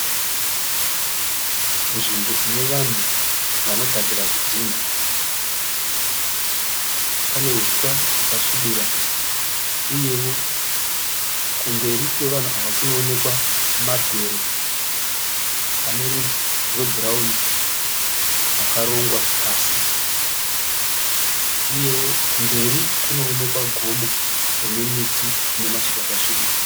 Nzvimbo inevanhu vanogadzira zvidhina. Pane huswa hwakasvibira. Uyewo kumberi kwevanhu ava kunemamabhero anerwudzi rwe bhurauni akarongwa pasi. Uyewo kumberi kunoonekwa gomo rimamiti unemashizha akasvibira.